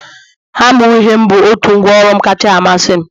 hama uhie bụ out ngwa ọru'm kacha amasị m